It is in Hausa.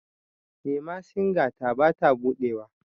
memasinga ta ba ta buɗewa